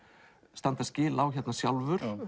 standa skil á sjálfur